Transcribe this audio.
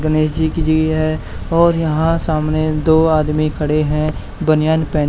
गनेश जी की जी हैं और यहां सामने दो आदमी खड़े हैं बनियान पहन--